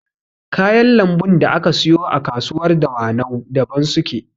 Kayan lambun da aka siyo a kasuwar dawanau daban suke